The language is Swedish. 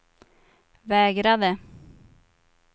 vägrade